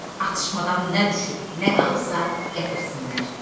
Atışmadan nə düşüb, nə qalıbsa, gətirsinlər.